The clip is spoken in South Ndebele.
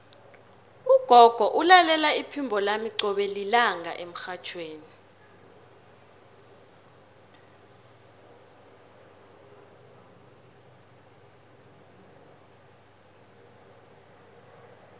ugogo ulalela iphimbo lami qobe lilanga emrhatjhweni